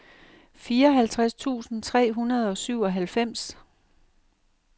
fireoghalvtreds tusind tre hundrede og syvoghalvfems